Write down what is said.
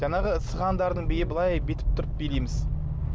жаңағы сығандардың биі былай бүйтіп тұрып билейміз